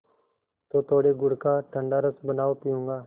तो थोड़े गुड़ का ठंडा रस बनाओ पीऊँगा